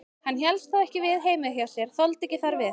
Hann hélst ekki við heima hjá sér, þoldi ekki þar við.